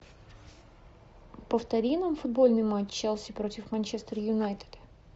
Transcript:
повтори нам футбольный матч челси против манчестер юнайтед